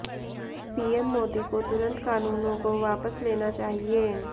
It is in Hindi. पीएम मोदी को तुरंत कानूनों को वापस लेना चाहिए